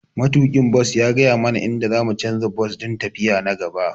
Matuƙin bas ya gaya mana inda za mu canza bas don tafiya ta gaba.